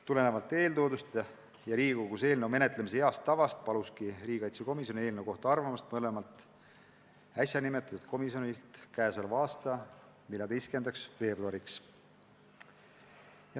Tulenevalt eeltoodust ja Riigikogus eelnõu menetlemise heast tavast paluski riigikaitsekomisjon mõlemalt äsja nimetatud komisjonilt eelnõu kohta arvamust k.a 14. veebruariks.